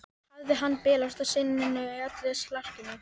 Hafði hann bilast á sinninu í öllu slarkinu?